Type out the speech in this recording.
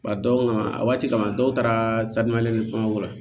Ba dɔw kan a waati kama dɔw taara la